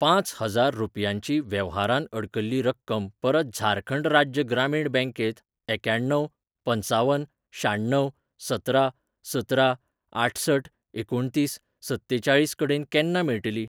पांच हजार रुपयांची वेव्हारांतअडकल्ली रक्कम परत झारखंड राज्य ग्रामीण बँकेंत एक्याण्णव पंचावन शाण्णव सतरा सतरा आठसठ एकुणतीस सत्तेचाळीस कडेन केन्ना मेळटली?